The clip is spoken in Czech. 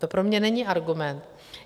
To pro mě není argument.